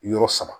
Yɔrɔ saba